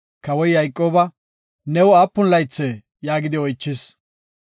Kawoy Yayqooba, “New aapun laythee?” yaagidi oychis.